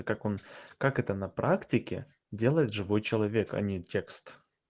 как он как это на практике делает живой человек а не текст